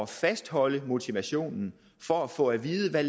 fastholde motivationen for at få at vide hvad